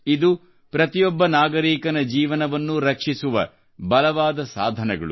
ಇದು ಪ್ರತಿಯೊಬ್ಬ ನಾಗರೀಕನ ಜೀವನವನ್ನೂ ರಕ್ಷಿಸುವ ಬಲವಾದ ಸಾಧನಗಳು